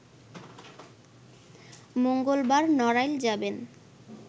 মঙ্গলবার নড়াইল যাবেন